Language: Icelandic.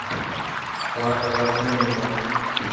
Þar gaf hún honum að borða.